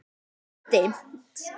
Það er dimmt.